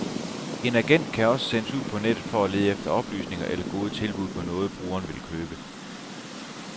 En agent kan også sendes ud på nettet for at lede efter oplysninger eller gode tilbud på noget, brugeren vil købe.